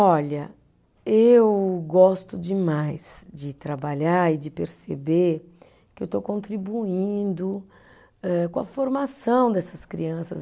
Olha, eu gosto demais de trabalhar e de perceber que eu estou contribuindo eh com a formação dessas crianças.